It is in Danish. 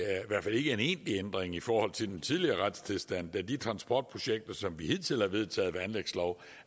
egentlig ændring i forhold til den tidligere retstilstand da de transportprojekter som vi hidtil har vedtaget ved anlægslov